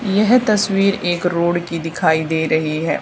यह तस्वीर एक रोड की दिखाई दे रही है।